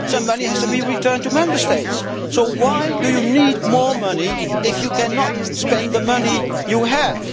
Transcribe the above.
Some money has to be returned to Member States. So why do you need more money if you cannot spend the money you have?